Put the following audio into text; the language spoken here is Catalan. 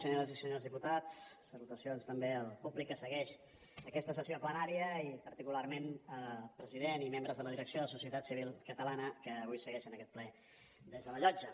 senyores i senyors diputats salutacions també al públic que segueix aquesta sessió plenària i particularment al president i membres de la direcció de societat civil catalana que avui segueixen aquest ple des de la llotja